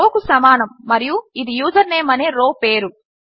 ఇది రౌ కు సమానము మరియు ఇది యూజర్నేమ్ అనే రో పేరు